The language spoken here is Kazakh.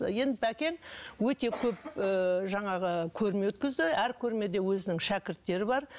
енді бәкең өте көп ыыы жаңағы көрме өткізді әр көрмеде өзінің шәкірттері бар